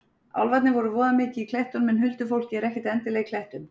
Álfarnir eru voða mikið í klettunum en huldufólkið er ekkert endilega í klettum.